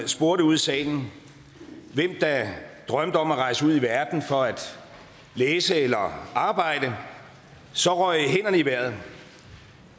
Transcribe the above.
spurgte ud i salen hvem der drømte om at rejse ud i verden for at læse eller arbejde så røg hænderne i vejret